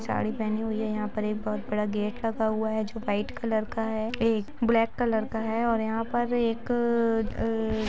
साड़ी पहेनी हुई है यहा पे एक बहोत बड़ा गेट लगा हुवा है गेट जो वाईट कलर का है एक ब्लेक कलर का है और यहाँ पर एक अ--